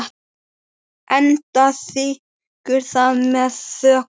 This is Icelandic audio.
Edda þiggur það með þökkum.